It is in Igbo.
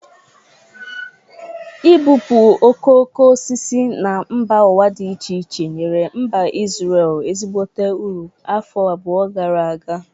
Ị bupụ okoko osisi na mba ụwa dị iche iche nyere mba Ịzrel ezigbote uru afọ abụọ gara aga.